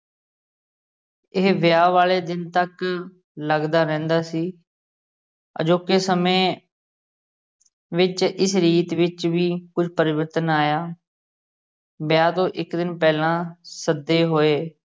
ਇਹ ਵਿਆਹ ਆਲੇ ਦਿਨ ਤਕ ਲੱਗਦਾ ਰਹਿੰਦਾ ਸੀ ਅਜੋਕੇ ਸਮੇਂ ਵਿਚ ਇਸ ਰੀਤ ਵਿਚ ਵੀ ਕੁਝ ਪਰਿਵਰਤਨ ਆਇਆ ਵਿਆਹ ਤੋਂ ਇੱਕ ਦਿਨ ਪਹਿਲਾ ਸੱਦੇ ਹੋਏ